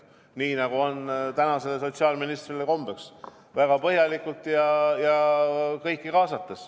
Nii nagu sotsiaalministril on kombeks, ta tegi seda väga põhjalikult ja kõiki kaasates.